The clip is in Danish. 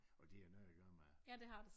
Og det har noget gøre med